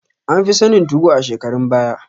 An fi sanin 2go a shekarun baya